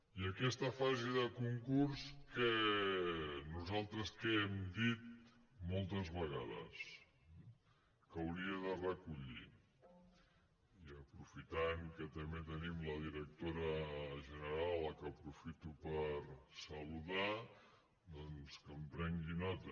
i aquesta fa·se de concurs nosaltres què hem dit moltes vegades que hauria de recollir i aprofitant que també tenim la directora general que aprofito per saludar doncs que en prengui nota